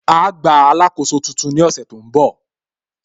Á gba alákóso tuntun ní ọ̀sẹ̀ tó ń bọ̀